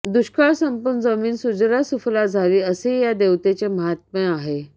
दुष्काळ संपून जमीन सुजला सुफला झाली असेही या देवतेचे माहात्म्य आहे